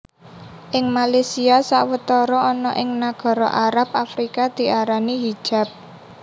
Ing Malaysia sawetara ana ing nagara Arab Afrika diarani hijab